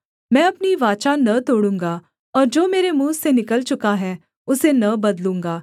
मैं अपनी वाचा न तोड़ूँगा और जो मेरे मुँह से निकल चुका है उसे न बदलूँगा